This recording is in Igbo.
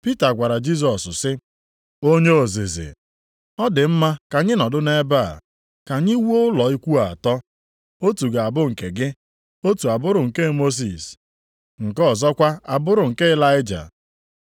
Pita gwara Jisọs sị, “Onye ozizi, ọ dị mma ka anyị nọdụ nʼebe a. Ka anyị wuo ụlọ ikwu atọ. Otu ga-abụ nke gị, otu a bụrụ nke Mosis, nke ọzọkwa a bụrụ nke Ịlaịja.”